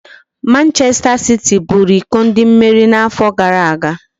Manchester City buru iko ndị mmeri na-afọ gara aga